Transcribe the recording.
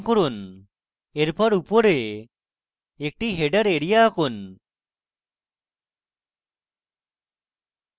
এরপর উপরে একটি header এরিয়া আঁকুন